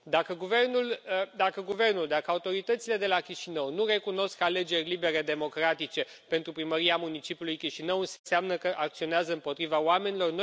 Dacă guvernul, dacă autoritățile de la Chișinău nu recunosc alegeri libere democratice pentru primăria municipiului Chișinău, înseamnă că acționează împotriva oamenilor.